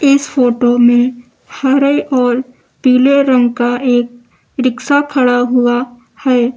इस फोटो में हरे और पीले रंग का एक रिक्शा खड़ा हुआ है।